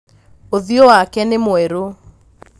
ũthiũ wake nĩ mwerũ